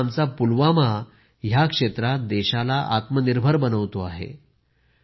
पण आता आमचा पुलवामा ह्या क्षेत्रात देशाला आत्मनिर्भर बनवतो आहे